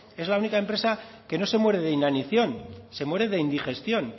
es la única empresa que no se muere de inanición se muere de indigestión